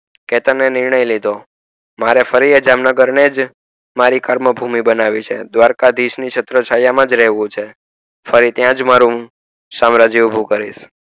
કેતન ને નિર્યણય લીધો મારે ફરી એ જામનગર ને જ મારી કર્મ ભૂમિ બનાવી છે દ્ધવારક ધીસ ની છત્ર છાયા માં રેહવું છે અને હું ત્યાં જ મારુ સામ્રાજ્ય ઉભું કરીશ